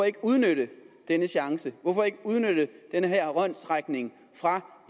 ikke udnytte denne chance hvorfor ikke udnytte denne håndsrækning fra